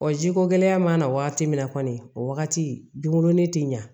jiko gɛlɛya mana waati min na kɔni o wagati dun ne ti ɲa